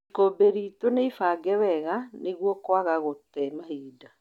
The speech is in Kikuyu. Ikũbĩ lĩto nĩlĩfange wega niguo kwaga gute mahĩnda